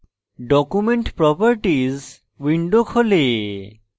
document properties window খোলে